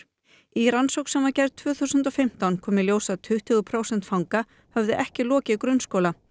í rannsókn sem gerð tvö þúsund og fimmtán kom í ljós að tuttugu prósent fanga höfðu ekki lokið grunnskóla